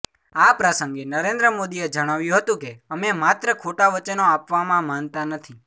આ પ્રસંગે નરેન્દ્ર મોદીએ જણાવ્યું હતું કે અમે માત્ર ખોટા વચનો આપવામાં માનતા નથી